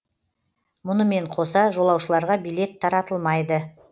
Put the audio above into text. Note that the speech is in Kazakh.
мұнымен қоса жолаушыларға билет таратылмайды